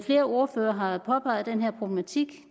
flere ordførere har påpeget den her problematik